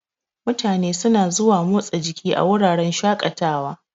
Mutane suna zuwa motsa jiki a wuraren shaƙatawa.